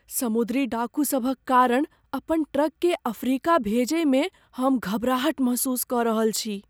समुद्री डाकूसभक कारण अपन ट्रककेँ अफ्रीका भेजयमे हम घबराहट महसूस कऽ रहल छी।